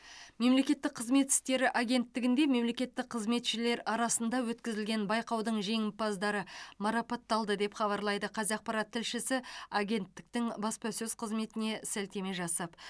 мемлекеттік қызмет істері агенттігінде мемлекеттік қызметшілер арасында өткізілген байқаудың жеңімпаздары марапатталды деп хабарлайды қазақпарат тілшісі агенттіктің баспасөз қызметіне сілтеме жасап